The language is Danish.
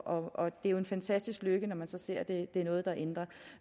og det er jo en fantastisk lykke når man så ser at det er noget der ændrer